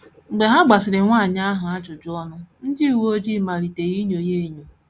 Mgbe ha gbasịrị nwanyị ahụ ajụjụ ọnụ, ndị uwe ojii malitere inyo ya enyo.